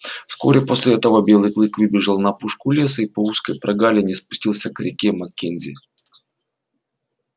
вскоре после этого белый клык выбежал на опушку леса и по узкой прогалине спустился к реке маккензи